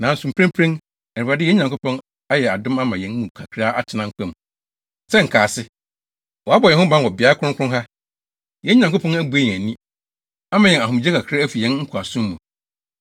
“Nanso mprempren, Awurade, yɛn Nyankopɔn, ayɛ yɛn adom ama yɛn mu kakra atena nkwa mu sɛ nkaase. Wabɔ yɛn ho ban wɔ beae kronkron ha. Yɛn Nyankopɔn abue yɛn ani, ama yɛn ahomegye kakra afi yɛn nkoasom mu.